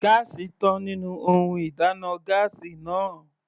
Gáásì tán nínú ohun ìdáná gáásì náà.